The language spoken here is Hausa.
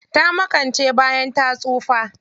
Ta makance bayan ta tsufa.